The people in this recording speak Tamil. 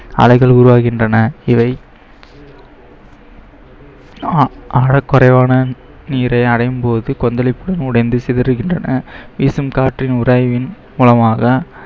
அலைகள் உருவாகின்றன இவை ஆழக்குறைவான நீரை அடையும் போது கொந்தளித்து உடைந்து சிதறுகின்றன வீசும் காற்றின் உராய்வின் மூலமாக